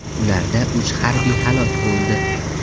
Ularda uch harbiy halok bo‘ldi.